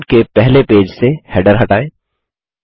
document के पहले page से हैडर हटाएँ